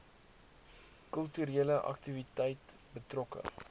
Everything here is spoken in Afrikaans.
kulturele aktiwiteite betrokke